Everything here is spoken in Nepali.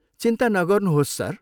चिन्ता नगर्नुहोस्, सर।